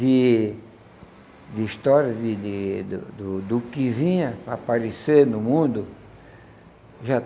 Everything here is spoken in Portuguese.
De de histórias de de do do do que vinha a aparecer no mundo já.